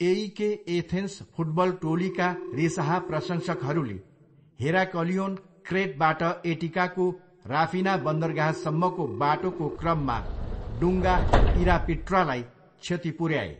एइके Athens football टोलीका रिसाहा प्रशंसकहरूले हेराकलियोन, क्रेटबाट एटिकाको राफिना बन्दरगाहसम्मको बाटोको क्रममा डुङ्गा 'इरापिट्रा'लाई क्षति पुऱ्याए।